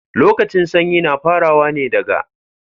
Lokacin sanyi na farawa ne daga